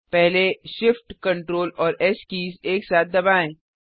पहले Shift Ctrl और S keys एक साथ दबाएँ